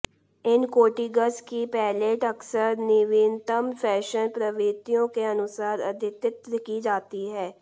इन coatings की palette अक्सर नवीनतम फैशन प्रवृत्तियों के अनुसार अद्यतित की जाती है